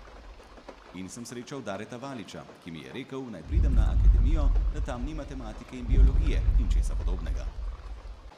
In sem srečal Dareta Valiča, ki mi je rekel, naj pridem na akademijo, da tam ni matematike in biologije, in česa podobnega.